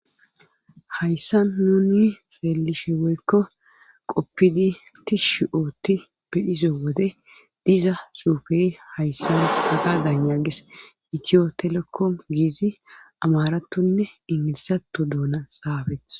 hayssan nuni seelishe woykko qoppidi tishshi ootti beyize wode diza suufe hayssan haka danya ges itiyo telekko giizi amaratonne ingilisato duuna xaabeeth